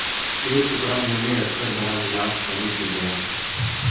एक टुकड़ा मुँह में रखकर भरा गिलास पानी पी गया